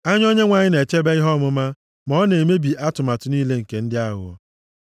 Anya Onyenwe anyị na-echebe ihe ọmụma, ma ọ na-emebi atụmatụ niile nke ndị aghụghọ.